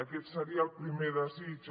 aquest seria el primer desig